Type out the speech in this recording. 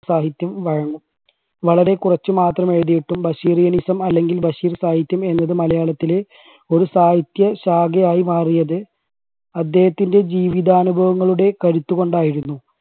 സാഹിത്യം വഴങ്ങും. വളരെ കുറച്ചു മാത്രം എഴുതിയിട്ടും ബഷീറിനിസം അല്ലെങ്കിൽ ബഷീർ സാഹിത്യം എന്നത് മലയാളത്തിലെ ഒരു സാഹിത്യ ശാഖയായി മാറിയത് അദ്ദേഹത്തിൻറെ ജീവിതാനുഭവങ്ങളുടെ കരുത്ത് കൊണ്ടായിരുന്നു.